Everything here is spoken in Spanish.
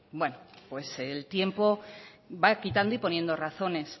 bueno pues el tiempo va quitando y poniendo razones